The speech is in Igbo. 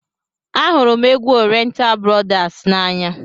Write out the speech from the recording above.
Ahụrụ m égwu oriental brothers n'anya.